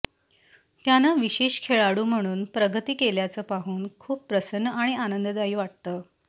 त्यानं विशेष खेळाडू म्हणून प्रगती केल्याचं पाहून खूप प्रसन्न आणि आनंददायी वाटतं